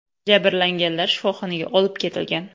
Jabrlanganlar shifoxonaga olib ketilgan.